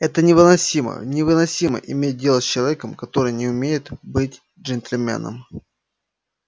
это невыносимо невыносимо иметь дело с человеком который не умеет быть джентльменом